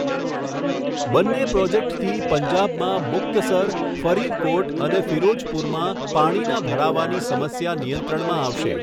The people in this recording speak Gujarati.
બંને પ્રોજેક્ટથી પંજાબમાં મુક્તસર, ફરીદકોટ અને ફિરોજ઼પુરમાં પાણીના ભરાવાની સમસ્યા નિયંત્રણમાં આવશે